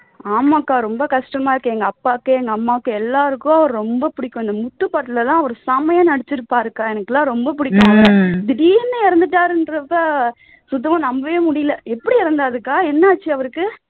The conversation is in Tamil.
ஆமா அக்கா ரொம்ப கஷ்டமா இருக்கு எங்க அப்பாவுக்கு எங்க அம்மாவுக்கு எல்லாருக்கும் அவரை ரொம்ப பிடிக்கும் இந்த முத்து படத்தில் எல்லாம் அவர் செமையா நடிச்சிருப்பாரு அக்கா எனக்கு எல்லாம் ரொம்ப பிடிக்கும் அவர திடீர்னு இறந்துட்டாருங்கறப்போ சுத்தமா நம்பவே முடியல எப்படி இறந்தார்க்கா என்ன ஆச்சு அவருக்கு